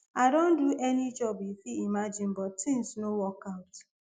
i don do any job you fit imagine but tins no work out